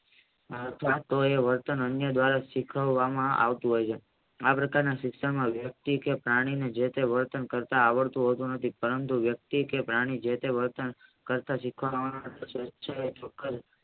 વર્તન અન્ય દ્વારા સીખવામાં આવતું હોય છે આ પ્રકારના શિક્ષણ માં વ્યક્તિ કે પ્રાણી જેતે વર્તન કરતા આવડતું હોતું નથી પરંતુ વસ્તુ કે પ્રાણી જેતે વર્તન સીખવામાં